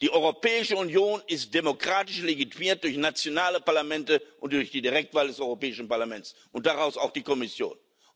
Die Europäische Union ist demokratisch legitimiert durch nationale Parlamente und durch die Direktwahl des Europäischen Parlaments und daraus auch die Kommission.